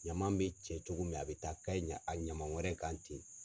Ɲama bɛ cɛ cogo min a bɛ taa ka ɲɛ a ɲama wɛrɛ kan ten.